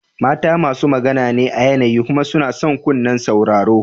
Mata masu magana ne a yanayi kuma suna son kunnen sauraro.